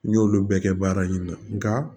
N y'olu bɛɛ kɛ baara in na nka